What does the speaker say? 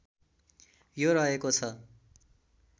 यो रहेको छ